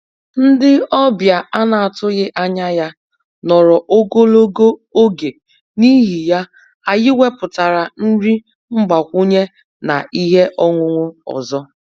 Ndị ọbịa a na-atụghị anya ya nọrọ ogologo oge, n'ihi ya, anyị wepụtara nri mgbakwunye na ihe ọṅụṅụ ọzọ